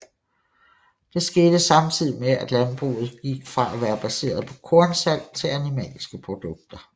Det skete samtidig med at landbruget gik fra at være baseret på kornsalg til animalske produkter